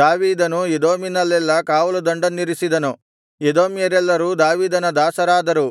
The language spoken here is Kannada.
ದಾವೀದನು ಎದೋಮಿನಲ್ಲೆಲ್ಲಾ ಕಾವಲುದಂಡನ್ನಿರಿಸಿದನು ಎದೋಮ್ಯರೆಲ್ಲರೂ ದಾವೀದನ ದಾಸರಾದರು